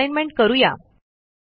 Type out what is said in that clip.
आता असाईनमेंट करू या